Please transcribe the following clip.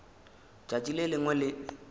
tšatši le lengwe le le